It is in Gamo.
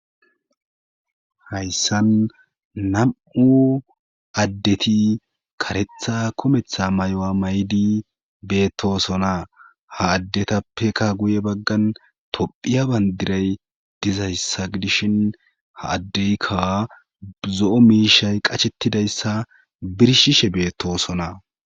hayssan nam7u addeti karetha kometha may7oa may7di beettosona ha addetappeka guye baggan tophiya bandiray dizayssa gidishin ha addeykka zo7o miishay qacshettidayssa birshishe beettosona